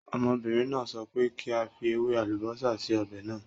Ọmọbìnrin náà sọ pé kí n fi ewé àlùbósà sí ọ̀bẹ̀ náà.